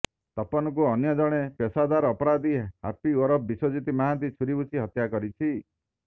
ତପନକୁ ଅନ୍ୟ ଜଣେ ପେସାଦାର ଅପରାଧୀ ହାପି ଓରଫ ବିଶ୍ବଜିତ ମହାନ୍ତି ଛୁରି ଭୁଷି ହତ୍ୟା କରିଛି